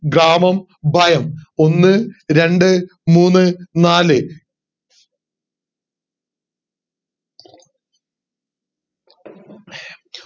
ഗ്രാമം ഭയം ഒന്ന് രണ്ട് മൂന്നു നാല്